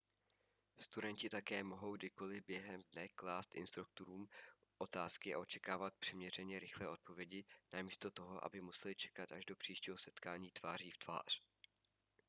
studenti také mohou kdykoli během dne klást instruktorům otázky a očekávat přiměřeně rychlé odpovědi namísto toho aby museli čekat až do příštího setkání tváří v tvář